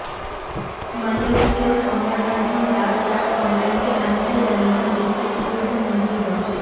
মালয়েশীয় সংবাদমাধ্যম the Star অনলাইনকে এমনটাই জানিয়েছেন দেশটির উপপ্রধানমন্ত্রী ড